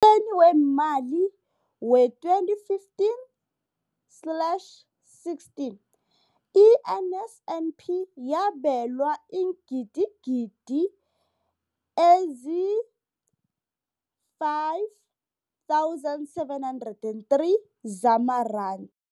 Emnyakeni weemali we-2015 slash 16, i-NSNP yabelwa iingidigidi ezi-5 703 zamaranda.